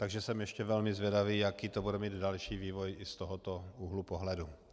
Takže jsem ještě velmi zvědavý, jaký to bude mít další vývoj i z tohoto úhlu pohledu.